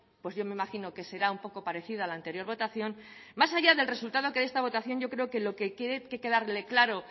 pues yo me imagino que será un poco parecida a la anterior votación más allá del resultado de esta votación yo creo que lo que tiene que quedarle claro